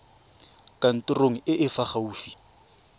kantorong e e fa gaufi